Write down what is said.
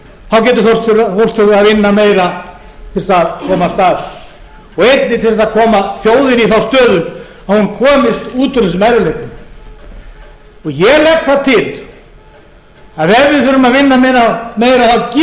þá getur fólk þurft að vinna meira til að komast af og einnig til að koma þjóðinni í þá stöðu að hún komist út úr þessum erfiðleikum ég legg það til að ef við þurfum að vinna meira